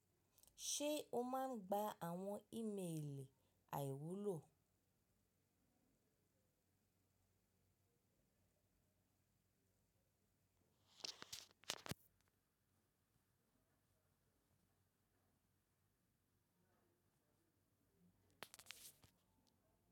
Ṣe o máa ń gba àwọn ímelì àìwúlò?